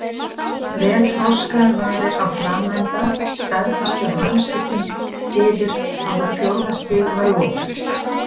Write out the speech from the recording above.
Vel þroskaðar varir á framenda staðfestu að hamskiptum yfir á fjórða stig var lokið.